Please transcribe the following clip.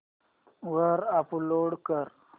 वर अपलोड कर